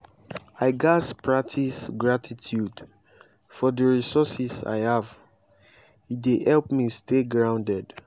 i gats practice gratitude for the resources i have; e dey help me stay grounded.